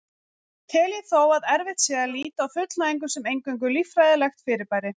Tel ég þó að erfitt sé að líta á fullnægingu sem eingöngu líffræðilegt fyrirbæri.